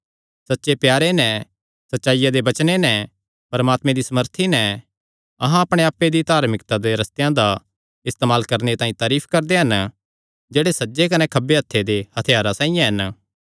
सच्चे प्यारे नैं सच्चाईया दे वचने नैं परमात्मे दी सामर्थी नैं अहां अपणे आप्पे दी धार्मिकता दे रस्तेयां दा इस्तेमाल करणे तांई तारीफ करदे हन जेह्ड़े सज्जे कने खब्बे हत्थे दे हत्थयारां साइआं हन